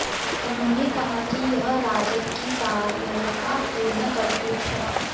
उन्होंने कहा कि यह राजद की कायरतापूर्ण करतूत है